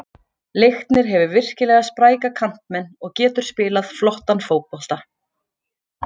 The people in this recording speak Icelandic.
Leiknir hefur virkilega spræka kantmenn og getur spilað flottan fótbolta.